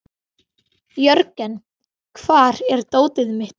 Jörgen, hvar er dótið mitt?